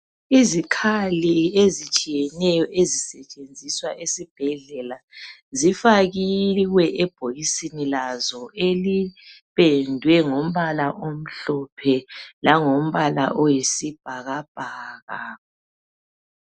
Izikhali ezitshiyeneyo ezisetshenziswa esibhedlela zifakiwe ebhokisini lazo elipendwe ngombala omhlophe langombala oyisibhakabhaka